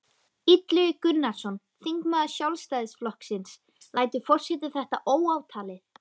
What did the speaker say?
Illugi Gunnarsson, þingmaður Sjálfstæðisflokksins: Lætur forseti þetta óátalið?